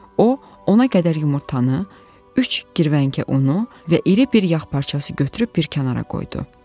O, 10-a qədər yumurtanı, üç girvənkə unu və iri bir yağ parcası götürüb bir kənara qoydu.